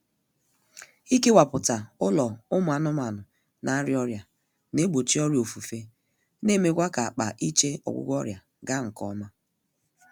Ikewaputa ụlọ ụmụ anụmaanụ na-arịa ọrịa na-egbochi ọrịa ofufe na-emekwa ka-akpa iche ọgwụgwọ ọrịa gaa nkọma